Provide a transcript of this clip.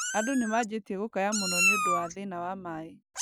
Andũ nĩmanjĩtie gũkaya mũno nũndũ wa thĩna wa maĩ